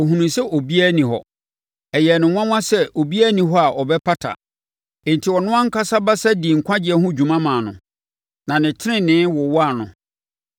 Ohunuu sɛ obiara nni hɔ. Ɛyɛɛ no nwanwa sɛ obiara nni hɔ a ɔbɛpata; enti ɔno ankasa basa dii nkwagyeɛ ho dwuma maa no, na ne tenenee wowaa no.